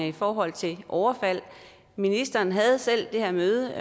i forhold til overfald ministeren havde selv det her møde